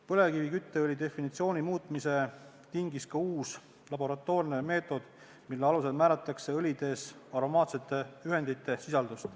Põlevkivikütteõli definitsiooni muutmise tingis ka uus laboratoorne meetod, mille alusel määratakse õlides aromaatsete ühendite sisaldust.